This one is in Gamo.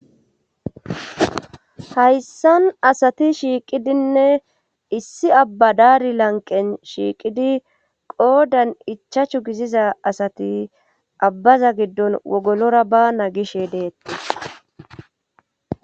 Hayssan asati shiiqidinne issi abba daari lanqen shiiqidi qoodan ichachu giziza asati abbaza giddon wogolora baana gishe deettis.